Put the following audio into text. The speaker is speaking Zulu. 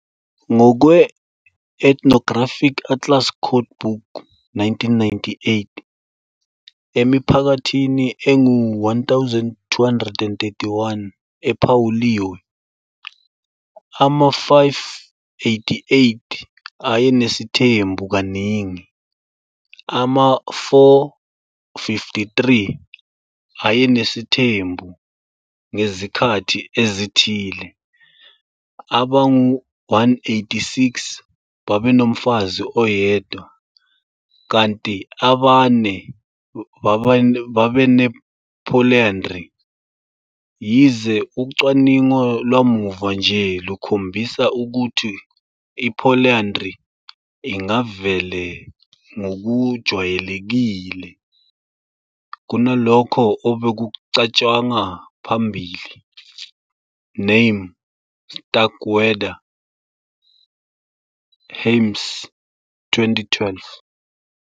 Ngokwe- Ethnographic Atlas Codebook, 1998, emiphakathini engu-1 231 ephawuliwe, ama-588 ayenesithembu kaningi, ama-453 ayenesithembu ngezikhathi ezithile, abangu-186 babenomfazi oyedwa kanti abane babene-polyandry - yize ucwaningo lwamuva nje lukhombisa ukuthi i-polyandry ingavela ngokujwayelekile kunalokho obekucatshangwa ngaphambili. Name, Starkweather-Hames 2012.